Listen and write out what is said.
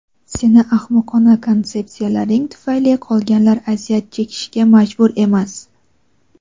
Seni ahmoqona konsepsiyalaring tufayli qolganlar aziyat chekishga majbur emas.